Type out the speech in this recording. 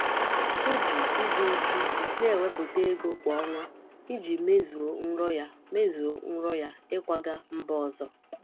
Ọ ji ịdị uchu na-ewepụta ego kwa ọnwa iji mezuo nrọ ya mezuo nrọ ya ịkwaga mba ọzọ.